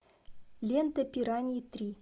лента пираньи три